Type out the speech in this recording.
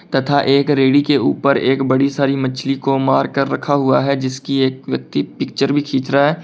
तथा एक रेडी के ऊपर एक बड़ी सारी मछली को मार कर रखा हुआ है जिसकी एक व्यक्ति पिक्चर भी खींच रहा है।